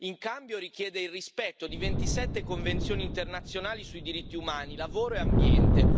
In cambio, richiede il rispetto di 27 convenzioni internazionali su diritti umani, lavoro e ambiente.